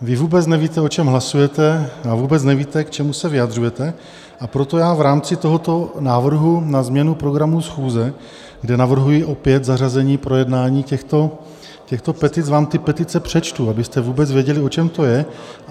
Vy vůbec nevíte, o čem hlasujete, a vůbec nevíte, k čemu se vyjadřujete, a proto já v rámci tohoto návrhu na změnu programu schůze, kde navrhuji opět zařazení projednání těchto petic, vám ty petice přečtu, abyste vůbec věděli, o čem to je.